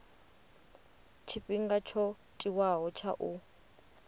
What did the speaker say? tshifhinga tsho tiwaho tsha u